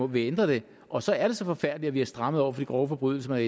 vil ændre det og så er det så forfærdeligt at vi har strammet over for de grove forbrydelser at